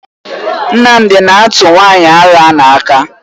Nnamdi na-atụ nwanyị ara ahụ aka.